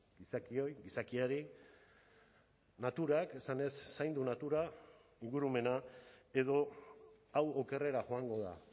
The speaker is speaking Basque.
gizakioi gizakiari naturak esanez zaindu natura ingurumena edo hau okerrera joango da